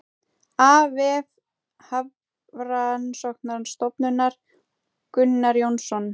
Af vef Hafrannsóknastofnunar Gunnar Jónsson.